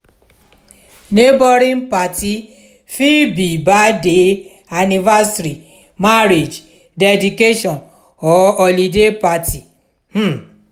neighbouring parti fit be birthday anniversary marriage dedication or holiday parti um